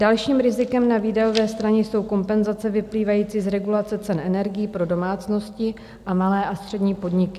Dalším rizikem na výdajové straně jsou kompenzace vyplývající z regulace cen energií pro domácnosti a malé a střední podniky.